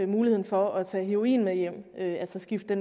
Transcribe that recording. muligheden for at tage heroin med hjem altså skifte